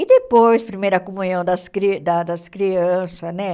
E depois, primeira comunhão das cri da das crianças, né?